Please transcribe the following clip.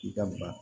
I da baga